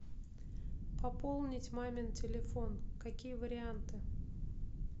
пополнить мамин телефон какие варианты